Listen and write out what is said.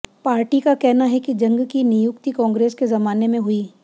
party का कहना है कि जंग की नियुक्ति कांग्रेस के जमाने में हुई